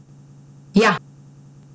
Ja!